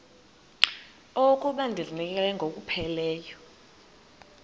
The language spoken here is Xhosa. okokuba ndizinikele ngokupheleleyo